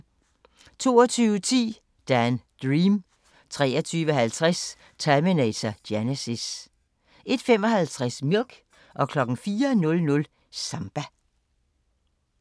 22:10: Dan Dream 23:50: Terminator Genisys 01:55: Milk 04:00: Samba